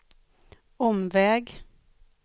omväg